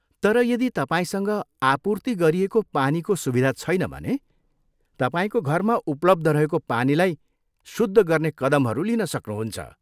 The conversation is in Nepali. तर यदि तपाईँसँग आपूर्ति गरिएको पानीको सुविधा छैन भने, तपाईँको घरमा उपलब्ध रहेको पानीलाई शुद्ध गर्ने कदमहरू लिन सक्नहुन्छ।